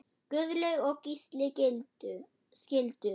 Guðlaug og Gísli skildu.